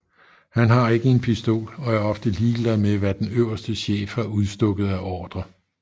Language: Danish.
Han har ikke en pistol og er ofte ligeglad med hvad den øverste chef har udstukket af ordrer